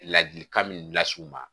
Ladilikan min las'u ma